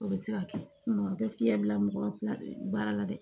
O bɛ se ka kɛ a bɛ fiɲɛ bila mɔgɔ la baara la dɛ